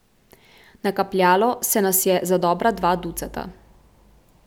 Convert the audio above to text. Nakapljalo se nas je za dobra dva ducata.